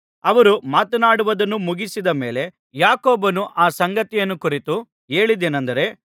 ಅವರು ಮಾತನಾಡುವುದನ್ನು ಮುಗಿಸಿದ ಮೇಲೆ ಯಾಕೋಬನು ಆ ಸಂಗತಿಯನ್ನು ಕುರಿತು ಹೇಳಿದ್ದೇನಂದರೆ